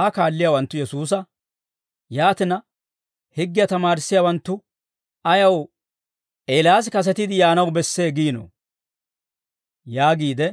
Aa kaalliyaawanttu Yesuusa, «Yaatina, higgiyaa tamaarissiyaawanttu ayaw, ‹Eelaas kasetiide yaanaw bessee› giinoo?» yaagiide